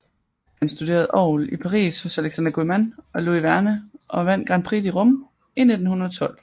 Han studerede orgel i Paris hos Alexandre Guilmant og Louis Vierne og vandt Grand Prix de Rome i 1912